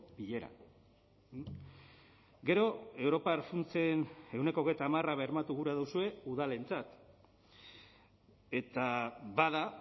bileran gero europar funtsen ehuneko hogeita hamara bermatu gura duzue udalentzat eta bada